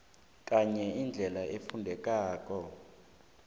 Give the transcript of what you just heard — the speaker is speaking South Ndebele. ngenye indlela efundekako